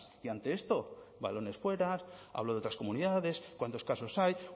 y ante esto balones fuera habló de otras comunidades cuántos casos hay